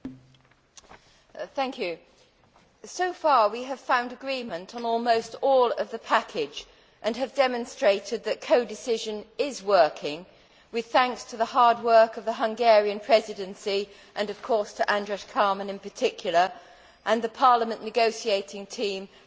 Mr President, so far we have found agreement on almost all of the package and have demonstrated that codecision is working, with thanks to the hard work of the Hungarian Presidency and of course to András Kármán in particular, and to the Parliament negotiating team and the Commission.